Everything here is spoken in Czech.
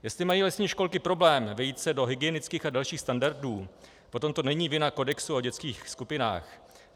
Jestli mají lesní školy problém vejít se do hygienických a dalších standardů, potom to není vina kodexu o dětských skupinách.